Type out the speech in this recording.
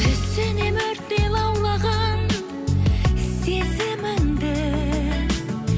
түсінемін өрттей лаулаған сезіміңді